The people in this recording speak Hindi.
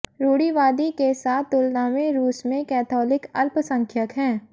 रूढ़िवादी के साथ तुलना में रूस में कैथोलिक अल्पसंख्यक हैं